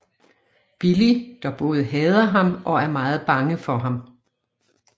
Billy der både hader ham og er meget bange for ham